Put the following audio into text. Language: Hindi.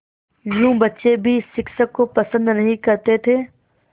यूँ बच्चे भी शिक्षक को पसंद नहीं करते थे